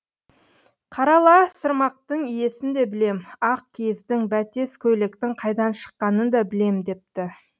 қарала сырмақтың иесін де білем ақ киіздің бәтес көйлектің қайдан шыққанын да білем депті